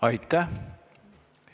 Aitäh!